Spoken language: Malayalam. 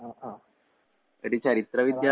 ആഹ് ആഹ്. ആഹ്.